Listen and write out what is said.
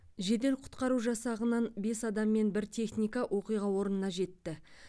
жедел құтқару жасағынан бес адам мен бір техника оқиға орнына жетті